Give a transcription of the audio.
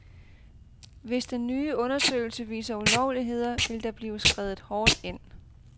Hvis den nye undersøgelse viser ulovligheder, vil der blive skredet hårdt ind.